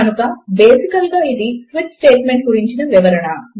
కనుక basically ఇది switch statement గురించిన వివరణ